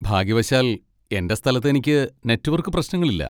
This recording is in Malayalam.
ഭാഗ്യവശാൽ, എന്റെ സ്ഥലത്ത് എനിക്ക് നെറ്റ്‌വർക്ക് പ്രശ്നങ്ങളില്ല.